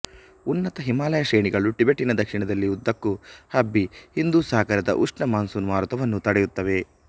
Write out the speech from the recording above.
ಉನ್ನತ ಹಿಮಾಲಯ ಶ್ರೇಣಿಗಳು ಟಿಬೆಟ್ಟಿನ ದಕ್ಷಿಣದಲ್ಲಿ ಉದ್ದಕ್ಕೂ ಹಬ್ಬಿ ಹಿಂದೂ ಸಾಗರದ ಉಷ್ಣ ಮಾನ್ಸೂನ್ ಮಾರುತವನ್ನು ತಡೆಯುತ್ತವೆ